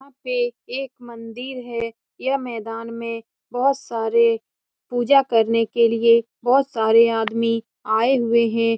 यहाँ पे एक मंदिर है यह मैदान में बहुत सारे पूजा करने के लिए बहुत सारे आदमी आये हुए है।